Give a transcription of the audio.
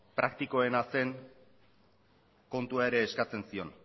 praktikoena zen kontua ere eskatzen zion